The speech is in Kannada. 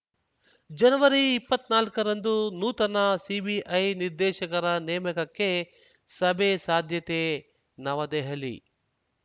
ಜನವರಿಇಪ್ಪತ್ನಾಲ್ಕರಂದು ನೂತನ ಸಿಬಿಐ ನಿರ್ದೇಶಕರ ನೇಮಕಕ್ಕೆ ಸಭೆ ಸಾಧ್ಯತೆ ನವದೆಹಲಿ